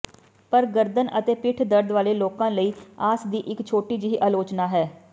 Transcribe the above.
ਪਰ ਗਰਦਨ ਅਤੇ ਪਿੱਠ ਦਰਦ ਵਾਲੇ ਲੋਕਾਂ ਲਈ ਆਸ ਦੀ ਇਕ ਛੋਟੀ ਜਿਹੀ ਆਲੋਚਨਾ ਹੈ